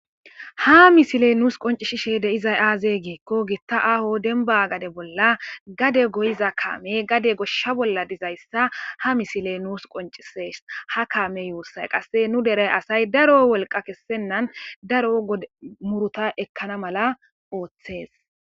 Ha misile nuus qoncishishe de'izay aazey giikko gitta aho denba gade bolla gade goyiza kaame gade goshsha bolla dizayssa ha misile nuus qoncises ha kaame youssay qasse nu deray asay daro wolqa kessennan daro muruta ekkana mala ooththes